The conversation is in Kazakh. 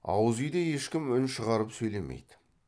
ауызүйде ешкім үн шығарып сөйлемейді